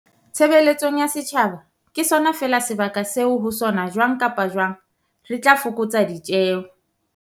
tshe beletsong ya setjhaba ke sona feela sebaka seo ho sona jwang kapa jwang re tla fokotsa ditjeo.